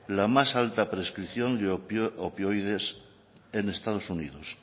la más alta prescripción de opioides en estados unidos